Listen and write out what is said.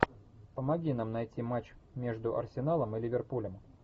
помоги нам найти матч между арсеналом и ливерпулем